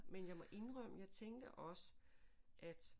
Men jeg må indrømme jeg tænkte også at